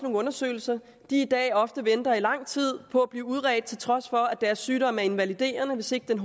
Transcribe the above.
undersøgelser i dag ofte venter i lang tid på at blive uredt til trods for at deres sygdom er invaliderende hvis ikke den